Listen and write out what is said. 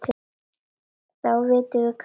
Þá vitum við kannski meira.